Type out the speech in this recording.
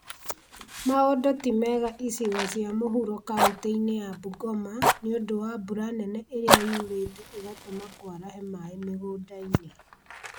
Maũndũ ti mega icigo cia mũhuro kauntĩ-inĩ ya Bungoma nĩũndũ wa mbura nene ĩrĩa yurĩte ĩgatũma kwarahe maĩ mĩgũnda-inĩ